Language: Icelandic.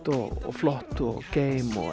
og flott og geim og